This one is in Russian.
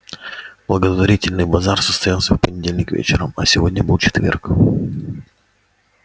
благотворительный базар состоялся в понедельник вечером а сегодня был четверг